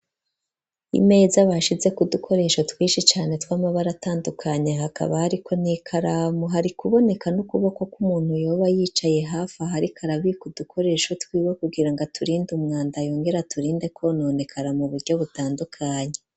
Imeza, bashizeko udukoresho, twishi cane, tw'amabara atandukanye, hakaba hariko, n'ikaramu; hari kuboneka n'ukuboko, kw'umuntu, yoba yicaye hafi aho, ariko arabika, udukoresho twiwe, kugira ngo, aturinde umwanda, yongere aturinde kwononekara, mu buryo butandukanye.